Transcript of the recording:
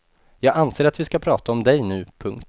Jag anser att vi ska prata om dig nu. punkt